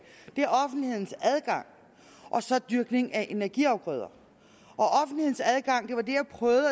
er offentlighedens adgang og så dyrkning af energiafgrøder og det jeg prøvede